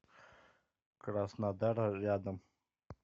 краснодар рядом